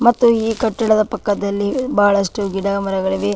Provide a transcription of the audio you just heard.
ಮತ್ತು ಈ ಕಟ್ಟಡದ ಪಕ್ಕದಲ್ಲಿ ಬಹಳಷ್ಟು ಗಿಡಮರಗಳಿವೆ.